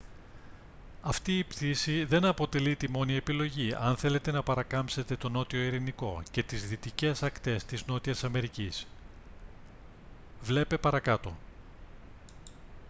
αυτή η πτήση δεν αποτελεί τη μόνη επιλογή αν θέλετε να παρακάμψετε τον νότιο ειρηνικό και τις δυτικές ακτές της νότιας αμερικής. βλ. παρακάτω